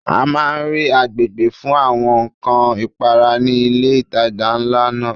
A máa rí agbègbè fún àwọn ǹkan ìpara ní ilé ìtajà ńlá náà.